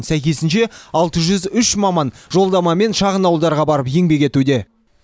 сәйкесінше алты жүз үш маман жолдамамен шағын ауылдарға барып еңбек етуде